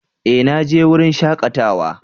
Eh! Na je wurin shakatawa